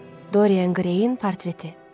Dorian Grayin portreti.